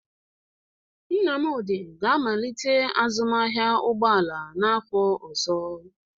Nnamdi ga-amalite azụmahịa ụgbọ ala n'afọ ọzọ.